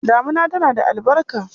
Damina tana da albarka.